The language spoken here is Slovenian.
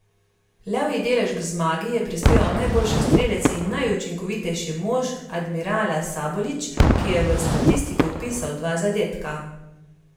Levji delež k zmagi je prispeval najboljši strelec in najučinkovitejši mož Admirala Sabolič, ki je v statistiko vpisal dva zadetka.